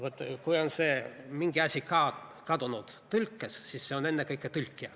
Vaat kui on mingi asi tõlkes kadunud, siis see asi on ennekõike tõlkija.